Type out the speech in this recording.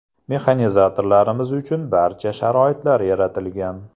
Mexanizatorlarimiz uchun barcha sharoitlar yaratilgan.